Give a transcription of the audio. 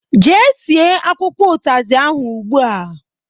Jee sie akwụkwọ utazi ahụ ụgbụa!